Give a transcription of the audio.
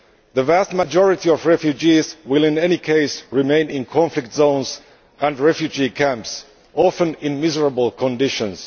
The vast majority of refugees will, in any case, remain in conflict zones and refugee camps, often in miserable conditions.